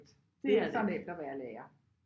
Det er det ikke